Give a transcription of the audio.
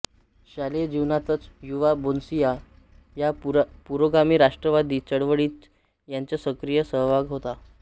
शालेय जीवनातच युवा बोस्निया या पुरोगामी राष्ट्रवादी चळवळीत त्यांचा सक्रिय सहभाग होता